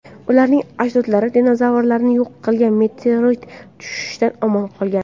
Ularning ajdodlari dinozavrlarni yo‘q qilgan meteorit tushishidan omon qolgan.